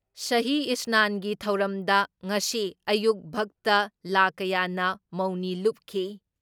ꯁꯍꯤ ꯏꯁꯅꯥꯟꯒꯤ ꯊꯧꯔꯝꯗ ꯉꯁꯤ ꯑꯌꯨꯛ ꯚꯛꯇ ꯂꯥꯈ ꯀꯌꯥꯅ ꯃꯧꯅꯤ ꯂꯨꯞꯈꯤ ꯫